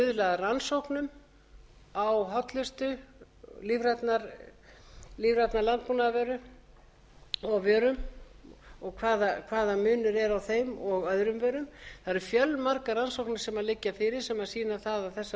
rannsóknum á hollustu lífrænan landbúnaðarvöru og vörum og hvaða munur er á þeim og öðrum vörum það eru fjölmargar rannsóknir sem liggja fyrir sem sýna það að þessar